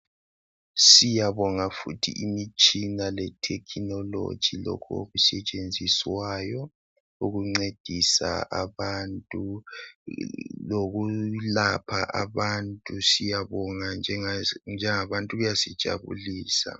Siyabonga futhi imitshina le "technology " lokho oku setshenziswayo ukuncedisa abantu lokulapha abantu ,siyabonga njengabantu kuyasijabulisa .